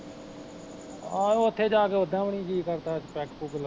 ਆਹੋ ਓਥੇ ਜਾਕੇ ਓਦਾ ਵੀ ਨੀ ਜੀਅ ਕਰਦਾ ਪੈੱਗ ਪੁੱਗ ਲਾਉਣ ਨੂੰ